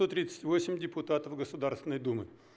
сто тридцать восемь депутатов государственной думы